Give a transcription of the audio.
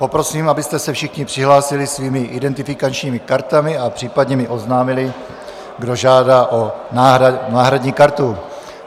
Poprosím, abyste se všichni přihlásili svými identifikačními kartami a případně mi oznámili, kdo žádá o náhradní kartu.